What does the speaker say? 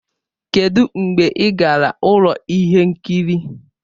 Kedụ mgbe ị gara ụlọ ihe nkiri?